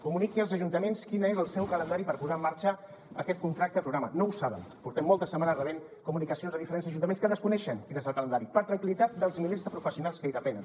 comuniqui als ajuntaments quin és el seu calendari per posar en marxa aquest contracte programa no ho saben portem moltes setmanes rebent comunicacions de diferents ajuntaments que desconeixen quin és el calendari per tranquil·litat dels milers de professionals que en depenen